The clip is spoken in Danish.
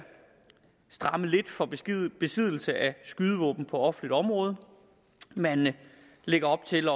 stramme lidt for besiddelse af skydevåben på offentligt område man lægger op til